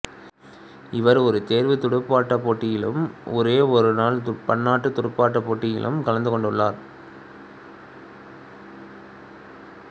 இவர் ஒரு தேர்வுத் துடுப்பாட்டப் போட்டியிலும் ஒரு ஒருநாள் பன்னாட்டுத் துடுப்பாட்டப் போட்டியிலும்கலந்து கொண்டுள்ளார்